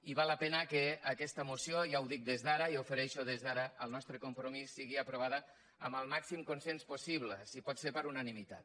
i val la pena que aquesta moció ja ho dic des d’ara ja ofereixo des d’ara el nostre compromís sigui aprovada amb el màxim consens possible si pot ser per unanimitat